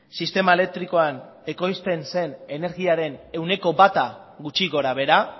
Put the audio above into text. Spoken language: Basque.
sistema elektrikoan ekoizten zen energiaren ehuneko bata gutxi gorabehera